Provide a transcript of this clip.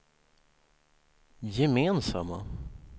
gemensamma